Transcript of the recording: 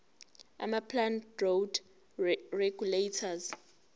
amaplant growth regulators